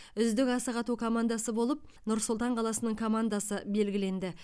үздік асық ату командасы болып нұр сұлтан қаласының командасы белгіленді